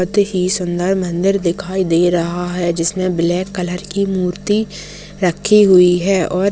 अति ही सुंदर मन्दिर दिखाई दे रहा है जिसमे ब्लैक कलर की मूर्ति रखी हुई है और--